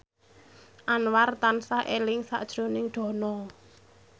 Anwar tansah eling sakjroning Dono